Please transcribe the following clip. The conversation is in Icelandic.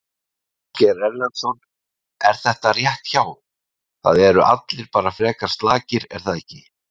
Ásgeir Erlendsson: Er þetta rétt hjá, það eru allir bara frekar slakir er það ekki?